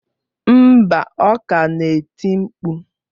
Mba, ọ ka na-eti mkpu.